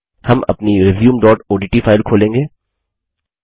हम अपनी resumeओडीटी फाइल खोलेंगे